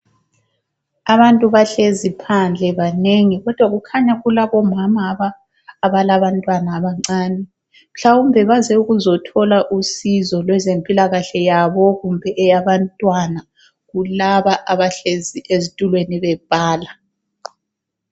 Abantu bahlezi phandle banengi kodwa kukhanya kulabomama abalabantwana abancane. Mhlawumbe baze ukuzothola usizo lwezempilakahle yabo kumbe eyabantwana kulaba abahlezi ezitulweni bebhala.